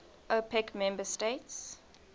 opec member states